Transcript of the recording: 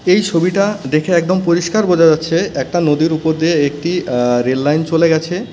এই ছবিটা দেখে একদম পরিষ্কার বোঝা যাচ্ছে একটা নদীর উপর দিয়ে একটি আঃ রেল লাইন চলে গেছে .